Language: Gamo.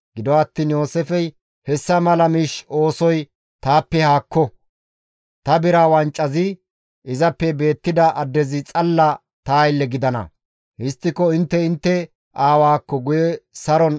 Gido attiin Yooseefey, «Hessa mala miish oosoy taappe haakko; ta bira wancazi izappe beettida addezi xalla ta aylle gidana. Histtiko intte intte aawaakko guye saron simmite» gides.